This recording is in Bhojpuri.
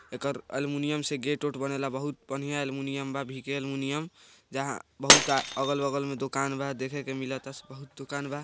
एकर एल्युमिनियम से गेट उट बनेला बहुत बढ़िया एल्युमिनियम बा वीके एल्युमिनियम जहां बहुत अ अगल-बगल में दोकान बा देखे के मिलेता बहुत दुकान बा।